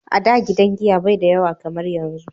a da gidan giya bai da yawa kamar yanzu